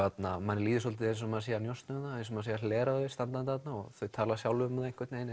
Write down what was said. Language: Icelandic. manni líður svolítið eins og maður sé að njósna um þau eins og maður sé að hlera þau standandi þarna og þau tala sjálf um það einhvern veginn